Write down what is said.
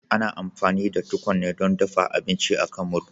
Ana amfani da tukwane don dafa abinci a kan murhu